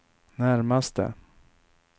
närmaste